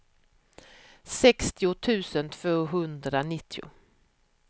sextio tusen tvåhundranittio